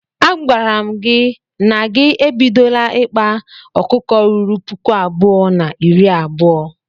A gwara m gi na gị ebidola ikpa ọkụkọ ruru puku abụọ na iri abuo.